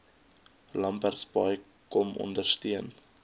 lambertsbaai kom ondersteun